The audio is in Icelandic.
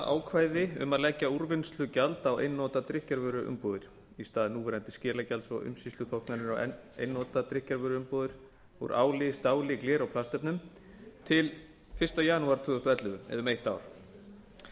ákvæði um að leggja úrvinnslugjald á einnota drykkjarvöruumbúðir í stað núverandi skilagjalds og umsýsluþóknunar á einnota drykkjarvöruumbúðir úr áli stáli gleri og plastefnum til fyrsta janúar tvö þúsund og ellefu eða um eitt ár